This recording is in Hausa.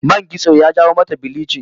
Man kitso ya jawo mata bilichin